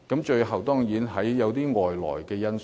最後當然包括外來因素。